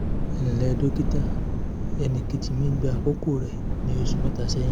ẹ ǹlẹ́ dókítà ẹnìkejì mi gba àkókò rẹ̀ ní oṣù mẹ́ta sẹ́yìn